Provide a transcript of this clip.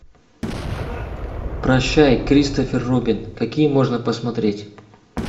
прощай кристофер робин какие можно посмотреть